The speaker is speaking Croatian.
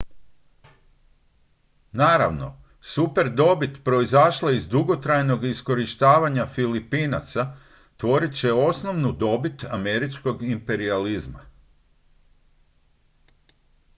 naravno superdobit proizašla iz dugotrajnog iskorištavanja filipinaca tvorit će osnovnu dobit američkog imperijalizma